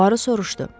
Puaro soruşdu.